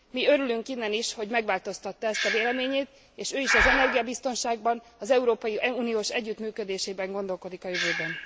Mi örülünk innen is, hogy megváltoztatta ezt a véleményét és ő is az energiabiztonságban, az európai uniós együttműködésében gondolkozik a jövőben.